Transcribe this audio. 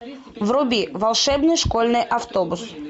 вруби волшебный школьный автобус